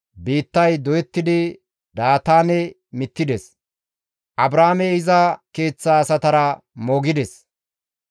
biittay doyettidi Daataane mittides; Abraame iza keeththa asatara moogides.